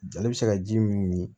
Jali bɛ se ka ji min min